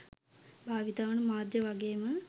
භාවිතා වන මාධ්‍ය වගේම